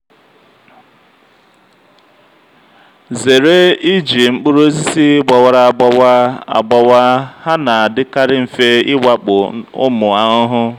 zere iji mkpụrụ osisi gbawara agbawa agbawa ha na-adịkarị mfe ịwakpo ụmụ ahụhụ.